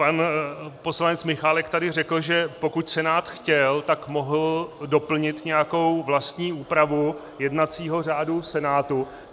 Pan poslanec Michálek tady řekl, že pokud Senát chtěl, tak mohl doplnit nějakou vlastní úpravu jednacího řádu Senátu.